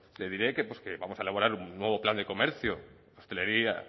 le diré que vamos a elaborar un nuevo plan de comercio hostelería